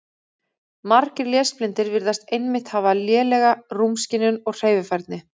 Margir lesblindir virðast einmitt hafa lélega rúmskynjun og hreyfifærni.